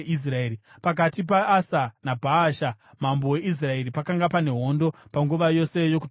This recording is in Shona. Pakati paAsa naBhaasha, mambo weIsraeri, pakanga pane hondo panguva yose yokutonga kwavo.